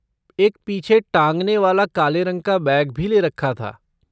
एक पीछे टाँगने वाला काले रंग का बैग भी ले रखा था।